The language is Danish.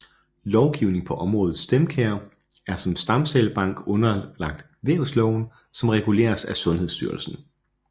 Lovgivning på området StemCare er som stamcellebank underlagt Vævsloven som reguleres af Sundhedsstyrelsen